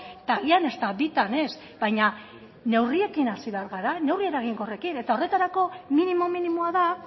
eta agian ezta bitan ez baina neurriekin hasi behar gara neurri eraginkorrekin eta horretarako minimo minimoa da